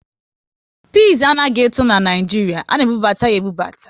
Pịs anaghị eto n'Naijiria, a na ebubata ya ebubata